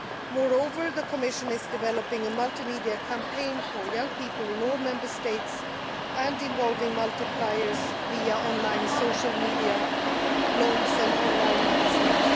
Moreover, the Commission is developing a multimedia campaign for young people in all Member States and involving multipliers via on line social media, blogs, and on line magazines.